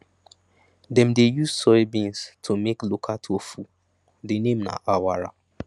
dem dey use soybeans to make local tofu the name na awara